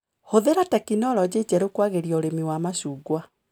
Hũthĩra tekinologĩ njerũ kwagĩria ũrĩmi wa macungwa.